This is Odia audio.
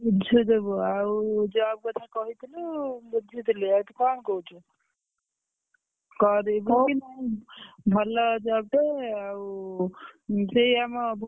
ବୁଝୁଦବୁ ଆଉ job କଥା କହିଥିଲୁ ବୁଝିଥିଲି ଆଉ ତୁ କଣ କହୁଛୁ? କରିବୁକି ନାଇ ହଉ ଭଲ job ଟେ ଆଉ ସେଇ ଆମ